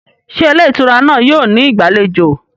Ṣé ilé ìtura náà yóò ní ìgbàlejò?